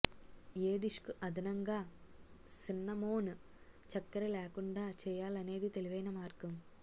ఏ డిష్కు అదనంగా సిన్నమోన్ చక్కెర లేకుండా చేయాలనేది తెలివైన మార్గం